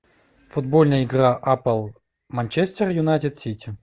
футбольная игра апл манчестер юнайтед сити